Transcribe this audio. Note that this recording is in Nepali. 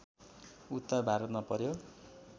उत्तर भारतमा प्रयोग